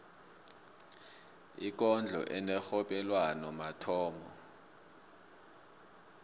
ikondlo enerhobelwano mathomo